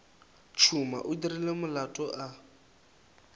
tšhuma o dirile molato a